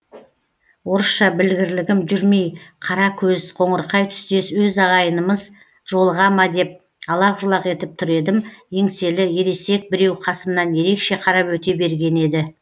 орысша білгірлігім жүрмей қара көз қоңырқай түстес өз ағайынымыз жолыға ма деп алақ жұлақ етіп тұр едім еңселі ересек біреу қасымнан ерекше қарап өте берген еді